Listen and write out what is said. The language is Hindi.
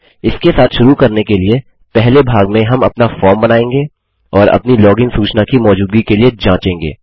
इसके साथ शुरू करने के लिए पहले भाग में हम अपना फॉर्म बनाएँगे और अपनी लॉगिन सूचना की मौजूदगी के लिए जाँचेंगे